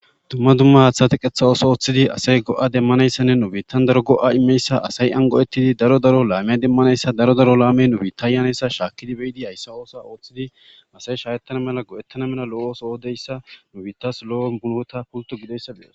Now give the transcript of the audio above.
dumma dumma haaththati qetha ooso ooththidi asay go7a demmanayssanne nubittan daro go7a imeyssa asay an go7ettidi daro daro laamiya demmanayssa daro daro laame nubitta yanayssa shaakkidi be7idi hayssa oosa ooththidi asay shayettana mela go7ettana mela lo7os oodeyssa nubiittas lo7o bunweta pulto gideyssabees